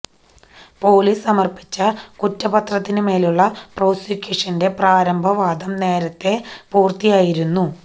police സമര്പ്പിച്ച കുറ്റപത്രത്തിന്മേലുള്ള പ്രോസിക്യൂഷന്റെ പ്രാരംഭ വാദം നേരത്തെ പുര്ത്തിയായിരുന്നു